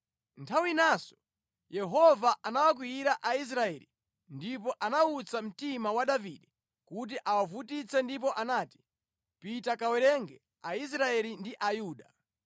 Nthawi inanso Yehova anawakwiyira Aisraeli ndipo anawutsa mtima wa Davide kuti awavutitse ndipo anati, “Pita kawerenge Aisraeli ndi Ayuda.”